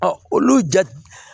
olu ja